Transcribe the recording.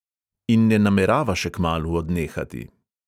In ne namerava še kmalu odnehati.